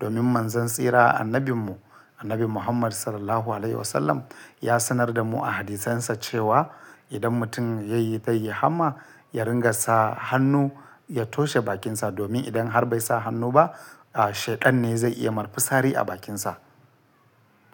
Domin manzan tsira annabinmu, Annabi Muhammad Sallallahu Alaihi Wasallam ya sanar da mu a hadisansa cewa idan mutum yayi ta yi hamma ya ringa sa hannu ya toshe bakinsa, domin idan har bai sa hannu ba, a shedan ne zai iya mai fitsari a bakinsa.